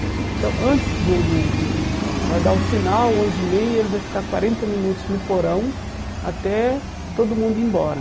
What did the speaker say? Então, antes do do ãh... vai dar o sinal, onze e meia, ele vai ficar quarenta minutos no porão até todo mundo ir embora.